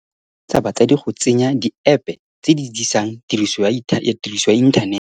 O eletsa batsadi go tsenya diepe tse di disang tiriso ya inthanete